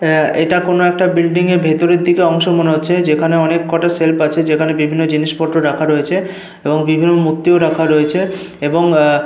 আহ এটা কোনো একটা বিল্ডিং এর ভেতরের দিকের অংশ মনে হচ্ছে যেখানে অনেক কটা সেলফ আছে। যেখানে বিভিন্ন জিনিসপত্র রাখা রয়েছে এবং বিভিন্ন মূর্তিও রাখা রয়েছে এবং আহ --